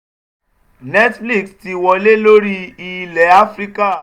netflix ti wọlé lórí ilẹ̀ áfíríkà